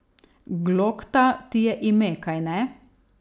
Glokta ti je ime, kajne?